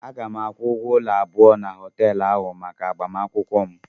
Aga m akwụgwo ụlọ abụọ na họteelu ahụ maka agbamakwụkwọ m.